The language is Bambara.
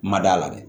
Ma d'a la dɛ